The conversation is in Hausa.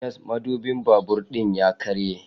Yes, madubin babur ɗin ya karye